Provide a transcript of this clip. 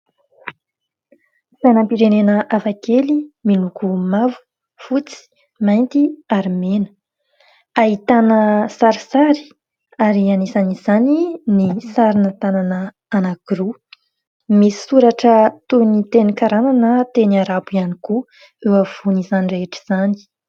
Sainanam-pirenena hafakely miloko mavo ,fotsy, mainty ary mena. Ahitana sarsary ary hanisan' izany ny sarina tanàna anakiroa misoratra toy ny teny karana na teny arabo ihany koa eo afovoan'izany rehetra izany